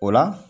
O la